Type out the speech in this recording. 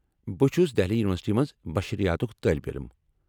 بہٕ چُھس دہلی یونیورسٹی منٛز بشریاتک طالب علم ۔